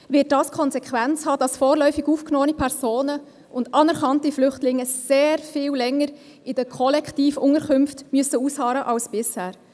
Faktisch wird das zur Konsequenz haben, dass vorläufig aufgenommene Personen und anerkannte Flüchtlinge sehr viel länger in den Kollektivunterkünften ausharren müssen als bisher.